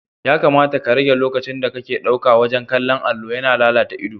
Ya kamata ka rage lokacinda kake ɗauka wajen kallon allo, yana lalata idanu.